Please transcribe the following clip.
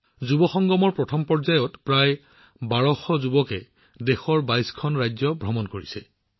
যুৱংগমৰ প্ৰথম ৰাউণ্ডত প্ৰায় ১২০০ যুৱকযুৱতীয়ে দেশৰ ২২ খন ৰাজ্য ভ্ৰমণ কৰিছে